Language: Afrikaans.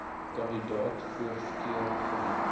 kandidate voorkeur geniet